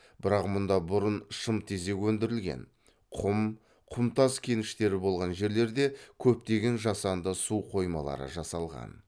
бірақ мұнда бұрын шымтезек өндірілген құм құмтас кеніштері болған жерлерде көптеген жасанды су қоймалары жасалған